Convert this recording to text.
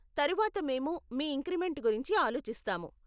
తరువాత మేము మీ ఇంక్రిమెంట్ గురించి ఆలోచిస్తాము.